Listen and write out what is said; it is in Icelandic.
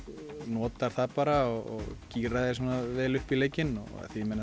notar það bara og gírar þig vel upp í leikinn því